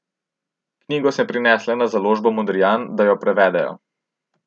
Knjigo sem prinesla na založbo Modrijan, da jo prevedejo.